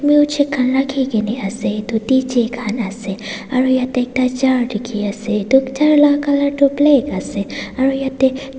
well check kan raki kina ase tcheck kan ase aro yete ekta chair diki ase doctor la color tu black ase aro yete.